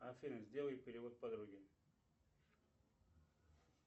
афина сделай перевод подруге